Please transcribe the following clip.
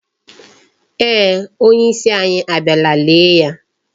eeh, onyeisi anyị abịala lee ya.